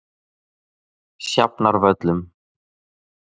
Sjafnarvöllum